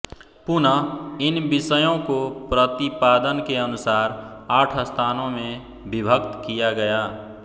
पुनः इन विषयों को प्रतिपादन के अनुसार आठ स्थानों में विभक्त किया गया